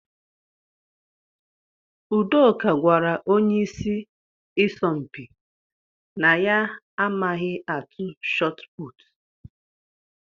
Udoka gwara onye ịsị isọmpi na ya amaghị atụ shotput.